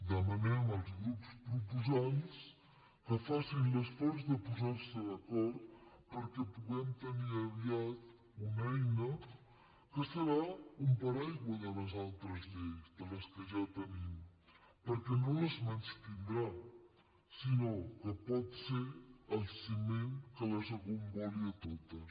demanem als grups proposants que facin l’esforç de posar se d’acord perquè puguem tenir aviat una eina que serà un paraigua de les altres lleis de les que ja tenim perquè no les menystindrà sinó que pot ser el ciment que les agomboli a totes